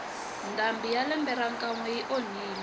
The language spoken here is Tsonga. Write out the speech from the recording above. ndhambi ya lembe ra ka nwe yi onhile